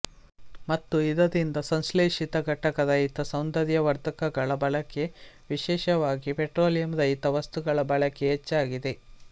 ಮತ್ತು ಇದರಿಂದ ಸಂಶ್ಲೇಶಿತ ಘಟಕ ರಹಿತ ಸೌಂದರ್ಯವರ್ಧಕಗಳ ಬಳಕೆ ವಿಶೇಷವಾಗಿ ಪೆಟ್ರೋಲಿಯಂ ರಹಿತ ವಸ್ತುಗಳ ಬಳಕೆ ಹೆಚ್ಚಾಗಿದೆ